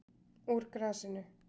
Úr grasinu